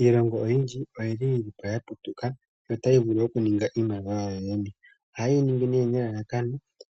Iilongo oyindji oyi li yi li po ya patuluka notayi ningi iimaliwa yawo yene, ohaye yi ningi nee nelalakano,